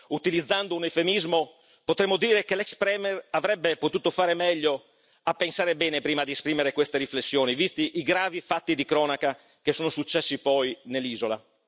Utilizzando un eufemismo potremmo dire che l'ex premier avrebbe potuto fare meglio a pensare bene prima di esprimere queste riflessioni, visti i gravi fatti di cronaca che sono successi poi nell'isola.